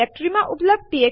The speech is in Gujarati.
માત્ર પ્રોમ્પ્ટ છાપવામાં આવશે